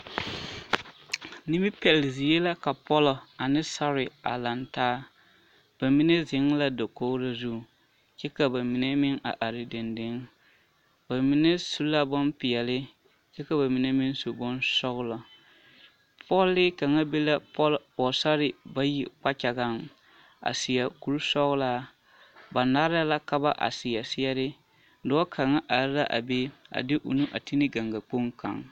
Nimipɛle zie la ka pɔlɔ ane sare a lantaa, bamine zeŋ la dakogiri zu kyɛ ka bamine meŋ a are dendeŋ, bamine su la bompeɛle kyɛ ka bamine meŋ su bonsɔgelɔ, pɔlee kaŋa be la pɔgesarre bayi kpakyagaŋ a seɛ kuri sɔgelaa, ba nara la ka ba a seɛ seɛre, dɔɔ kaŋa are la a be a de o nu a ti neŋ gaŋgakpoŋ kaŋ.